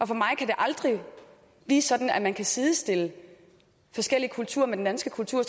for mig kan det aldrig blive sådan at man kan sidestille forskellige kulturer med den danske kultur